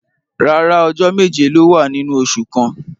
Rárá, ọjọ meje lo wa ninu ọsẹ kan.